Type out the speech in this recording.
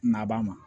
Na b'a ma